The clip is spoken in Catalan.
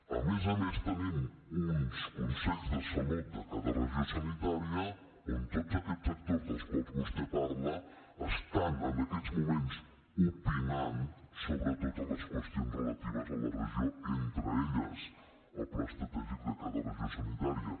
a més a més tenim uns consells de salut de cada regió sanitària on tots aquests actors dels quals vostè parla estan en aquests moments opinant sobre totes les qüestions relatives a la regió entre elles el pla estratègic de cada regió sanitària